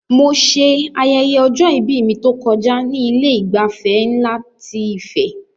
Mo ṣe ayẹyẹ ọjọ-ìbí mi tó kọjá ní Ilé ìgbafẹ́ nlá ti Ife